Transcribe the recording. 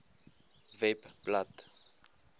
webblad